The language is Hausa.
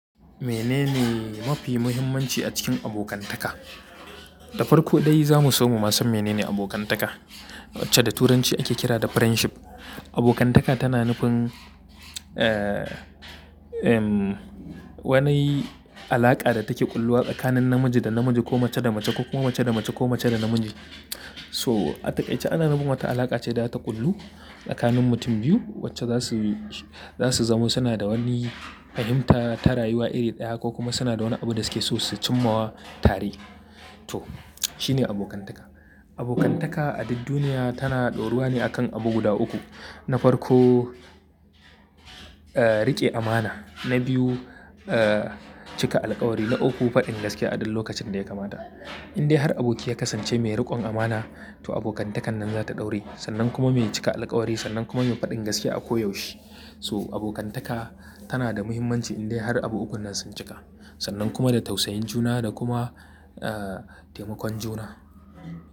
Menene mafi muhimmanci a cikin abokantaka? Da farko dai za mu so mu san menene abokantaka wacce da turanci ake kira da friendship. Abokantaka tana nufin, eh, um, wani alaƙa da take ƙulluwa tsakanin namiji da namiji ko mace da mace ko kuma mace da mace ko mace da namiji. So a takaice ana nufin wata alaƙa ce data ƙullu tsakanin mutum biyu wacce za su, za su zamo. Suna da wani fahimta ta rayuwa iri ɗaya ko kuma suna da wani abu da suke so su cimma tare. To shi ne abokantaka. Abokantaka a duk duniya tana ɗoruwa ne akan abu guda uku. Na farko, eh, riƙe amana. Na biyu, eh, cika alkawari. Na uku, faɗin gaskiya a duk lokacin da ya kamata. Indai har aboki ya kasance mai riƙon amana to abokantakan nan za ta ɗauri. Sannan kuma mai cika alƙawari sannan kuma mai faɗin gaskiya a ko yaushe. So abokantaka tana da muhimmanci indai har abu ukunnan sun cika. Sannan kuma da tausayin juna da kuma, eh, taimakon juna.